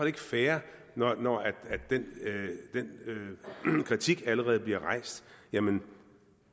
ikke fair når den kritik allerede bliver rejst jamen